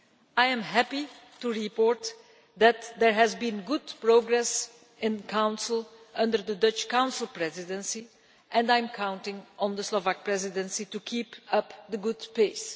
I am happy to report that there has been good progress in the Council under the Dutch Council Presidency and I am counting on the Slovak Presidency to keep up the pace.